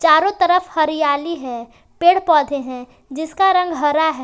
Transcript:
चारों तरफ हरियाली है पेड़ पौधे हैं जिसका रंग हरा है।